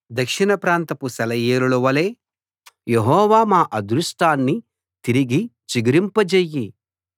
దక్షిణ ప్రాంతపు సెలయేరులవలే యెహోవా మా అదృష్టాన్ని తిరిగి చిగురింపజెయ్యి